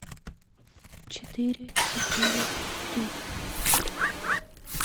четыре четыре три